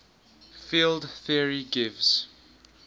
field theory gives